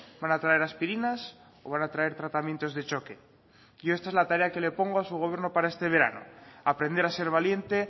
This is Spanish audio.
van a traer aspirinas o van a traer tratamientos de choque yo esta es la tarea que le pongo a su gobierno para este verano aprender a ser valiente